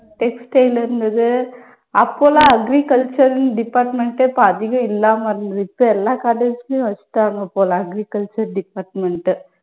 textile இருந்துது. அப்போ எல்லாம் agriculture ன்னு department அப்ப அதிகம் இல்லாம இருந்துது. இப்ப எல்லா college லயும் வச்சுட்டாங்க போல agriculture department